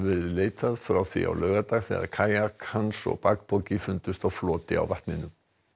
leitað frá því á laugardag þegar kajak hans og bakpoki fundust á floti á vatninu